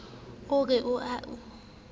a re o a o